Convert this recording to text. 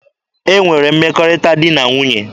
E nwere mmekọrịta di na nwunye.